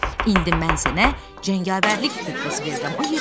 İndi mən sənə cəngavərlik rütbəsi verirəm.